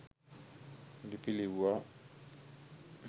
ලිපි ලිව්වා.